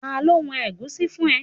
Ta ló wọn ẹ̀gúsí fún ẹ?